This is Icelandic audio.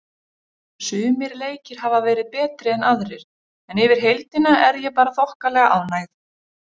Sumir leikir hafa verið betri en aðrir en yfir heildina er ég bara þokkalega ánægð.